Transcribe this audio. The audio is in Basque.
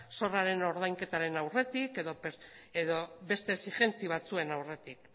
zorraren ordainketaren aurretik edo beste exijentzia batzuen aurretik